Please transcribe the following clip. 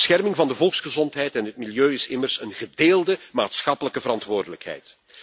De bescherming van de volksgezondheid en het milieu is immers een gedeelde maatschappelijke verantwoordelijkheid.